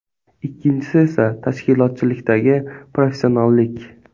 Ikkinchisi esa tashkilotchilikdagi professionallik.